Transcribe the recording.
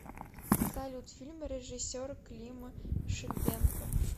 салют фильмы режиссера клима шипенко